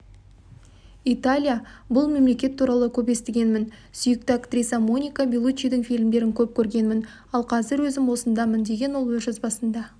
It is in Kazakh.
италия бұл мемлекет туралы көп естігенмін сүйікті актрисам моника беллучидің фильмдерін көп көргенмін ал қазір өзім осындамын деген ол өз жазбасында